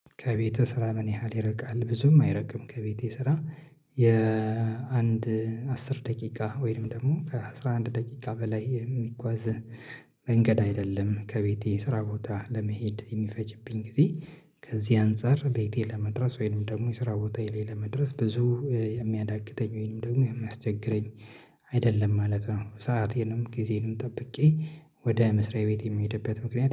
ከቤትህ ስራ ምን ያህል ይርቃል? ብዙም አይርቅም ከቤቴ ስራ የአንድ አስር ደቂቃ ወይም ደግሞ ከአሥራ አንድ ደቂቃ በላይ የሚጓዝ መንገድ አይደለም። ከቤቴ ስራ ቦታ ለመሄድ የሚፈጅብኝ ጊዜ ከዚህ አንፃር ቤቴ ለመድረስ ወይንም ደግሞ የስራ ቦታዬ ላይ ለመድረስ ብዙ የሚያዳግተኝ ወይንም ደግሞ የሚያስቸግረኝ አይደለም ማለት ነው። ሰአቴንም ጊዜዬንም ጠብቄ ወደ መስሪያ ቤት የሚሄድበት ምክንያት